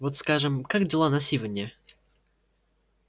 вот скажем как дела на сивенне